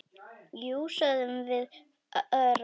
Jú, sögðum við örar.